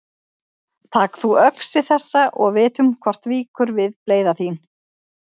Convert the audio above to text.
Tak þú öxi þessa og vitum hvort víkur við bleyða þín.